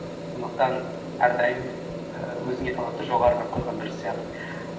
сондықтан әрдайым ііі өзіңе талапты жоғарырақ қойған дұрыс сияқты